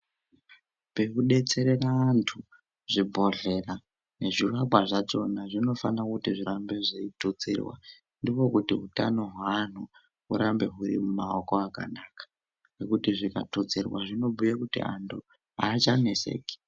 Pekudetsera vantu zvibhohlera nezviwakwa zvachona zvinofana kuti zvirambe zveitutsirwa ndiko kuti utano hweanhu hurambe huri mumaoko akanaka ngekuti zvikatutsirwa zvinobhuye kuti anhu achaneseki.